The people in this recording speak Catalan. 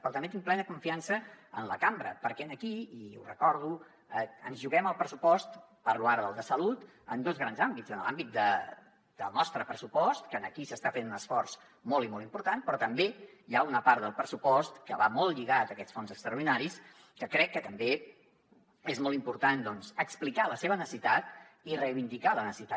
però també tinc plena confiança en la cambra perquè aquí i ho recordo ens hi juguem el pressupost parlo ara del de salut en dos grans àmbits en l’àmbit del nostre pressupost que aquí s’està fent un esforç molt i molt important però també hi ha una part del pressupost que va molt lligada a aquests fons extraordinaris que crec que també és molt important explicar ne la necessitat i reivindicar ne la necessitat